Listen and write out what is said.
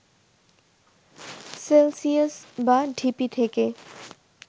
Celsius বা ঢিপি থেকে